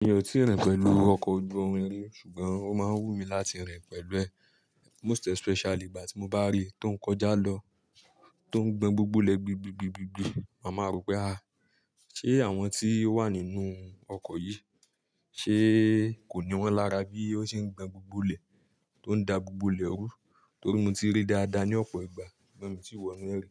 Mi ò tíì rìn pẹ̀lú ọkọ̀ ojú irin rí ṣùgbọ́n ó máa ń wù mí láti rìn pẹ̀lú ẹ̀. Most especially ìgbà tí mo bá rí i tó ń kọjá lọ, tó ń gbọn gbogbo ilẹ̀ gbi gbi gbi gbi gbi, màá máa rò pé ah! Ṣé àwọn tí ó wà nínú ọkọ̀ yìí, ṣe kò ní wọ́n lára bí ó ṣe ń gbọn gbogbo ilẹ̀, tó ń da gbogbo ilẹ̀ rú? Torí mo ti ríi dáadáa ní ọ̀pọ̀ ìgbà ṣùgbọ́n mii tíi wọ́nú ẹ rí,